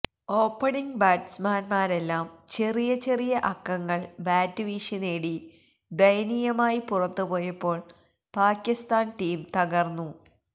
opening ബാസ്റ്റ്മാന്മാരെല്ലാം ചെറിയ ചെറിയ അക്കങ്ങള് ബാറ്റ് വീശി നേടി ദയനീയമായി പുറത്ത് പോയപ്പോള് പാക്കിസ്ഥാന് ടീം തകര്ന്നു